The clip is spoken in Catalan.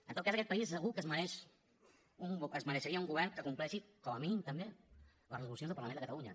en tot cas aquest país segur que es mereixeria un govern que compleixi com a mínim també les resolucions del parlament de catalunya